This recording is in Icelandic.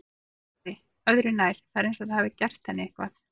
TRYGGVI: Öðru nær, það er eins og ég hafi gert henni eitthvað.